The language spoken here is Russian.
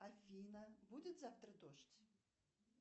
афина будет завтра дождь